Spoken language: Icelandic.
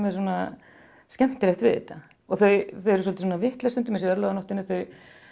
svona skemmtilegt við þetta og þau eru svolítið vitlaus stundum eins og í örlaganóttinni þau